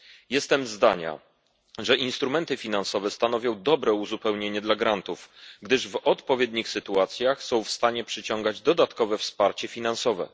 Jestem zdania, że instrumenty finansowe stanowią dobre uzupełnienie grantów, gdyż w odpowiednich sytuacjach są w stanie przyciągać dodatkowe wsparcie finansowe.